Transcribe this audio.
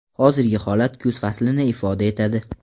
Hozirgi holat kuz faslini ifoda etadi.